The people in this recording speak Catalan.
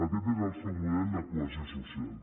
aquest és el seu model de cohesió social